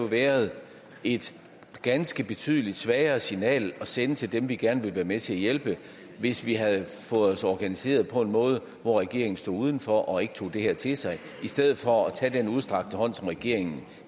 været et ganske betydelig svagere signal at sende til dem vi gerne vil være med til at hjælpe hvis vi havde organiseret os på en måde så regeringen stod uden for og ikke tog det her til sig i stedet for tage den udstrakte hånd som regeringen